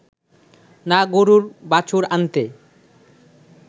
না গরুর বাছুর আনতে